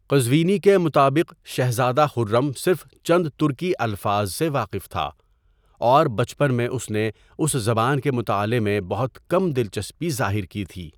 قزوینی کے مطابق شہزادہ خرم صرف چند ترکی الفاظ سے واقف تھا اور بچپن میں اس نے اس زبان کے مطالعہ میں بہت کم دل چسپی ظاہر کی تھی۔